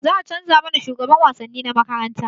Za a canza mana shugaban wasanni na makarantarmu